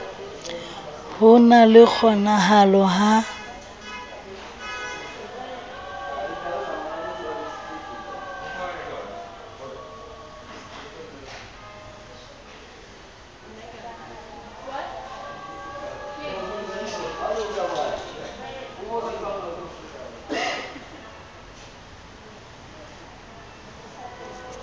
ho na le kgonahalo ya